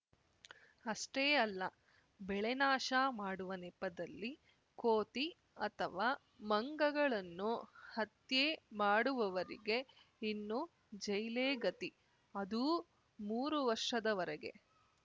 ಅಷ್ಟೇ ಅಲ್ಲ ಬೆಳೆನಾಶ ಮಾಡುವ ನೆಪದಲ್ಲಿ ಕೋತಿ ಅಥವಾ ಮಂಗಗಳನ್ನು ಹತ್ಯೆ ಮಾಡುವವರಿಗೆ ಇನ್ನು ಜೈಲೇ ಗತಿ ಅದೂ ಮೂರು ವರ್ಷದವರೆಗೆ